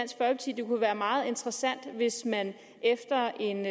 det kunne være meget interessant hvis man efter en